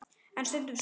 En stundum sól.